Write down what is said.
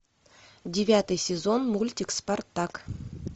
девятый сезон мультик спартак